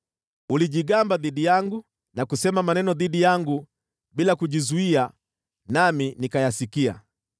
Ulijigamba dhidi yangu na kusema maneno dhidi yangu bila kujizuia, nami nikayasikia.